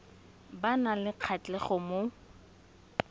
ba nang le kgatlhego mo